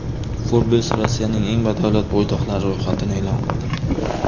Forbes Rossiyaning eng badavlat bo‘ydoqlari ro‘yxatini e’lon qildi.